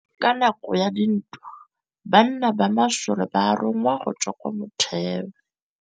Ka nakô ya dintwa banna ba masole ba rongwa go tswa kwa mothêô.